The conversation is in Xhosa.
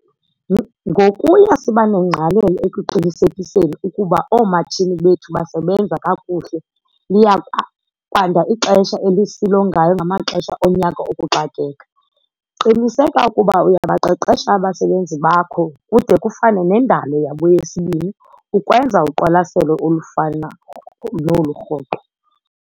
Ngokuya siba nengqalelo ekuqinisekiseni ukuba oomatshini bethu basebenza kakuhle liya kwanda ixesha esilongayo ngamaxesha onyaka okuxakeka. Qiniseka ukuba uyabaqeqesha abasebenzi bakho kude kufane nendalo yabo yesibini ukwenza uqwalaselo olufana nolu rhoqo.